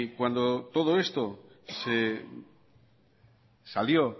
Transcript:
cuando todo esto salió